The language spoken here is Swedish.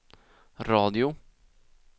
radio